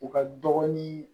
U ka dɔgɔnin